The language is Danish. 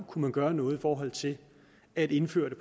kunne gøre noget i forhold til at indføre det